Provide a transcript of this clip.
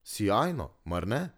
Sijajno, mar ne.